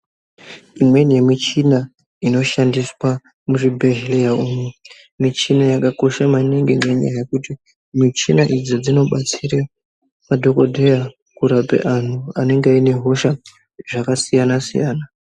Imweni yemichina inoshandiswa muzvibhehleya umwu muchina yakakosha mwaningi ngenyaya yekuti ,michina idzi dzinobatsira madhokodheya kurapa antu anenge anehosha dzakasiyana siyana .